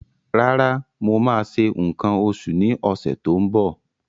Rárá, mo máa ṣe nǹkan oṣù ní ọ̀sẹ̀ tó ń bọ̀.